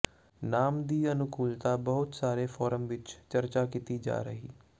ਨਾਮ ਦੀ ਅਨੁਕੂਲਤਾ ਬਹੁਤ ਸਾਰੇ ਫੋਰਮ ਵਿਚ ਚਰਚਾ ਕੀਤੀ ਜਾ ਰਹੀ